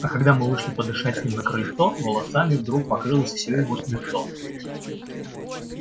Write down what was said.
а когда мы вышли подышать с ним на крыльцо волосами вдруг покрылось всё его лицо